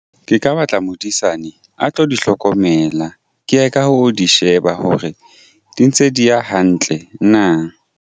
Ke ka batla modisane a tlo di hlokomela ke ye ka ho di sheba hore di ntse di ya hantle na.